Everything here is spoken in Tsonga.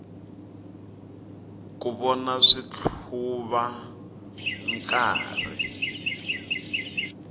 ku vona switlhuva nkarhi